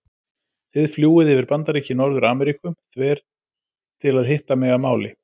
Þið fljúgið yfir Bandaríki Norður-Ameríku þver til að hitta mig að máli.